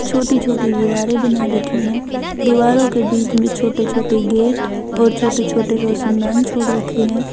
छोटी छोटी दीवारें बना रखी हैं दीवारों के बीच में छोटे छोटे गेट और छोटे छोटे रोशनदान छोड़ रखे हैं।